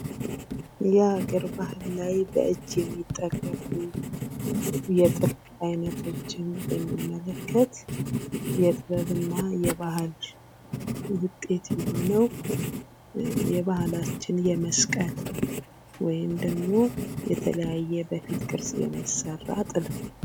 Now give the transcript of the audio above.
የሀገር ባህል ላይ በእጅ የሚጠለፉ የጥልፍ አይነቶችን ብንመለከት የጥበብና የባህል ውጤት የሆነው የባህላችን የመስቀል ወይም ደግሞ የተለያዩ በፊት ቅርጽ የሚሠራ ጥለት ነው።